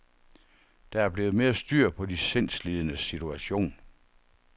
Der er blevet mere styr på de sindslidendes situation.